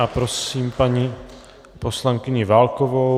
A prosím paní poslankyni Válkovou.